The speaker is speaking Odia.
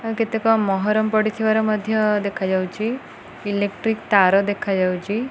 କେତେକ ମହରମ ପଡ଼ିଥିବାର ମଧ୍ୟ ଦେଖାଯାଉଚି। ଇଲେକ୍ଟ୍ରିକ୍ ତାର ଦେଖାଯାଉଚି।